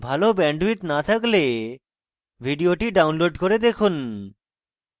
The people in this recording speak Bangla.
ভাল bandwidth না থাকলে ভিডিওটি download করে দেখুন